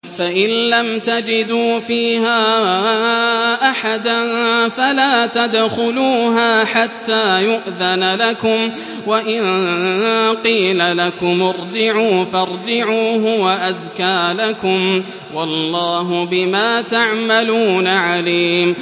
فَإِن لَّمْ تَجِدُوا فِيهَا أَحَدًا فَلَا تَدْخُلُوهَا حَتَّىٰ يُؤْذَنَ لَكُمْ ۖ وَإِن قِيلَ لَكُمُ ارْجِعُوا فَارْجِعُوا ۖ هُوَ أَزْكَىٰ لَكُمْ ۚ وَاللَّهُ بِمَا تَعْمَلُونَ عَلِيمٌ